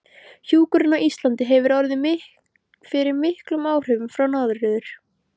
Hjúkrun á Íslandi hefur orðið fyrir miklum áhrifum frá Norður